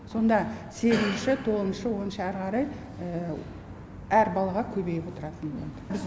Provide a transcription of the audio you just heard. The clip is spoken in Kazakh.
сонда сегізінші тоғызыншы оныншы әрі қарай әр балаға көбейіп отыратын болады